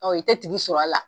Ɔ i tɛ tigi sɔrɔ a la.